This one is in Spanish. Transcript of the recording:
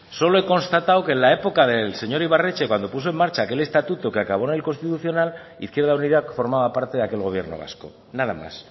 solo he constatado que en la época del señor ibarretxe cuando puso en marcha aquel estatuto que acabó en el constitucional izquierda unida formaba parte de aquel gobierno vasco nada más